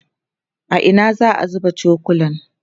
a Ina za'a zuba cokulan?